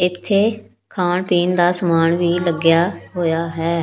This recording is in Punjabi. ਇੱਥੇ ਖਾਣ ਪੀਣ ਦਾ ਸਮਾਨ ਵੀ ਲੱਗਿਆ ਹੋਇਆ ਹੈ।